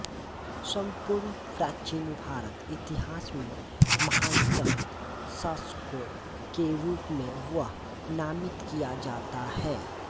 सम्पूर्ण प्राचीन भारतीय इतिहास में महानतम शासकों के रूप में वह नामित किया जाता है